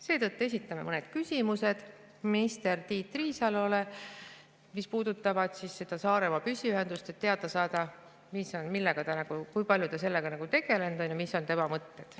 Seetõttu esitame mõned küsimused minister Tiit Riisalole, mis puudutavad Saaremaa püsiühendust, et teada saada, kui palju ta sellega tegelenud on ja mis on tema mõtted.